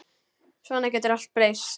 Svona getur allt breyst.